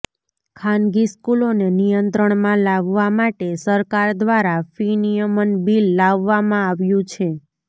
ખાનગી સ્કૂલોને નિયંત્રણમાં લાવવા માટે સરકાર દ્વારા ફી નિયમન બીલ લાવવામાં આવ્યું છે